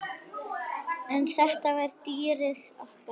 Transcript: En þetta var dýrið okkar.